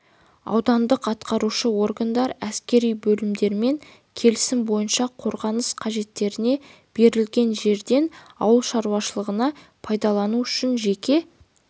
аудандық атқарушы органдар әскери бөлімдерімен келісім бойынша қорғаныс қажеттеріне берілген жерден ауыл шаруашылығына пайдалану үшін жеке